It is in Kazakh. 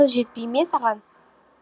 қыз жетпей ме саған